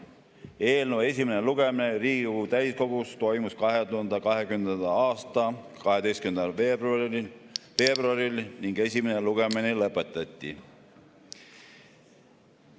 Eelnõu esimene lugemine Riigikogu täiskogus toimus 2020. aasta 12. veebruaril ning esimene lugemine lõpetati.